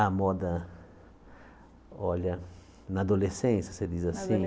A moda, olha, na adolescência, você diz assim? Na